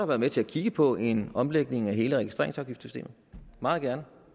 været med til at kigge på en omlægning af hele registreringsafgiftsystemet meget gerne